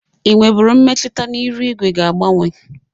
Ị nwebụru mmetụta na iru igwe ga agbanwe?